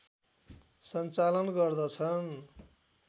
सञ्चालन गर्दछ्न्